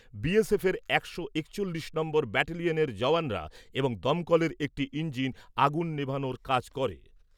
বিএসএফের একশো একচল্লিশ নম্বর ব্যাটেলিয়ানের জওয়ানরা এবং দমকলের একটি ইঞ্জিন আগুন নেভানোর কাজ করে।